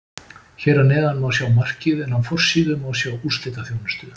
Hér að neðan má sjá markið en á forsíðu má sjá úrslitaþjónustu.